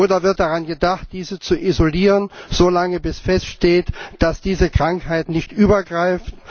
Oder wird daran gedacht, diese so lange zu isolieren, bis feststeht, dass diese Krankheit nicht übergreift?